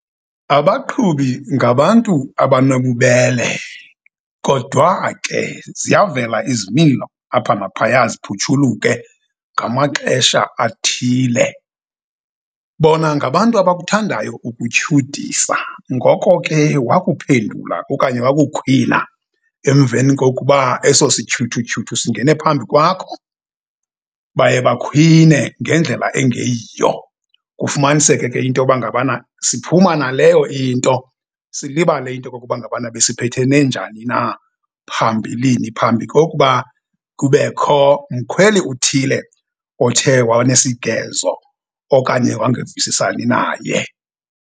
Abaqhubi ngabantu abanobubele. Kodwa ke ziyavela izimilo apha naphaya ziphutshuluke ngamaxesha athile. Bona ngabantu abakuthandayo ukukutyhudisa ngoko ke wakuphendula okanye wakukhwila emveni kokuba eso sityhudutyhudu singene phambi kwakho, baye bakhwine ngendlela engeyiyo. Kufumaniseke ke intoba ngabana siphuma naleyo into, silibale into kokuba ngabana besiphethene njani na phambilini phambi kokuba kubekho mkhweli uthile othe wanesigezo okanye wangevisisani naye.